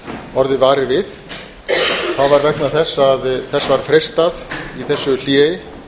orðið varir við það var vegna þess að þess var freistað í þessu hléi